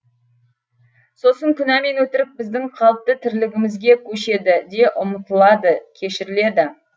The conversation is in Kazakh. сосын күнә мен өтірік біздің қалыпты тірлігімізге көшеді де ұмытылады кешіріледі